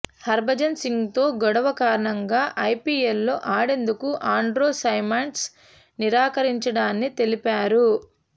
హర్భజన్ సింగ్తో గొడవ కారణంగా ఐపీఎల్లో ఆడేందుకు ఆండ్రూ సైమండ్స్ నిరాకరించడాని తెలిపారు